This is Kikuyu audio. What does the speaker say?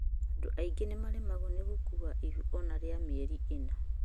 andũ angĩ nĩmaremagwo nĩ gũkuua ihu ona rĩa mĩeri ĩna,